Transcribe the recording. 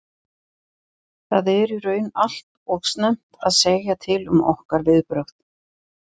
Það er í raun allt og snemmt að segja til um okkar viðbrögð.